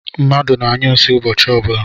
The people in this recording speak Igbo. Mmadụ na-anyụ nsi ụbọchị ọbụla